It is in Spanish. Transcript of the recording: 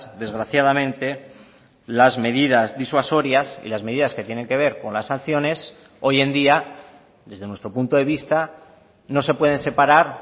desgraciadamente las medidas disuasorias y las medidas que tienen que ver con las sanciones hoy en día desde nuestro punto de vista no se pueden separar